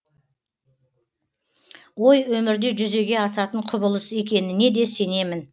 ой өмірде жүзеге асатын құбылыс екеніне де сенемін